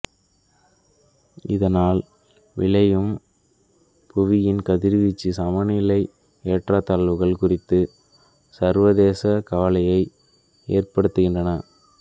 இதனால் விளையும் புவியின் கதிர்வீச்சு சமநிலை ஏற்றத்தாழ்வுகள் குறித்து சர்வதேச கவலையை ஏற்படுத்துகின்றன